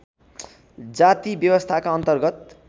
जाति व्यवस्थाका अन्तर्गत